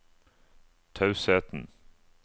tausheten